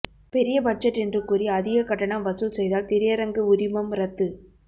பெரிய பட்ஜெட் என்று கூறி அதிக கட்டணம் வசூல் செய்தால் திரையரங்கு உரிமம் ரத்து